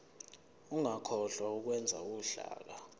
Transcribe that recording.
ungakhohlwa ukwenza uhlaka